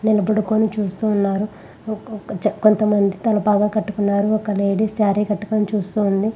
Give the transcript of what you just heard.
మంది నిలబడుకొని చూస్తూ ఉన్నారు. ఒకొక్ కొంత మంది తల పాగా కట్టుకున్నారు. ఒక లేడీ శారీ కట్టుకుని చూస్తూ ఉంది.